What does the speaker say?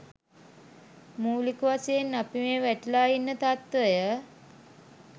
මූලික වශයෙන් අපි මේ වැටිලා ඉන්න තත්ත්වය